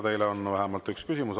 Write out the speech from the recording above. Teile on vähemalt üks küsimus.